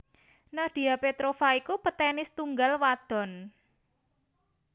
Nadia Petrova iku petenis tunggal wadon